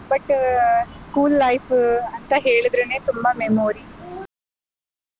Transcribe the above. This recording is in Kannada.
But school life ಅಂತ ಹೇಳಿದ್ರೇನೆ ತುಂಬಾ memory .